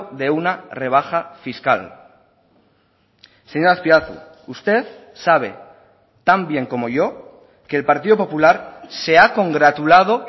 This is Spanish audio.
de una rebaja fiscal señor azpiazu usted sabe tan bien como yo que el partido popular se ha congratulado